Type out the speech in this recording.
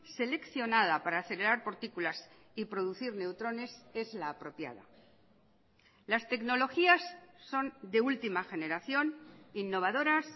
seleccionada para acelerar partículas y producir neutrones es la apropiada las tecnologías son de última generación innovadoras